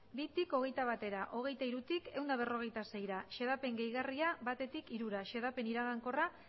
bitik hogeita batera hogeita hirutik ehun eta berrogeita seira xedapen gehigarria batetik hirura xedapen iragankorra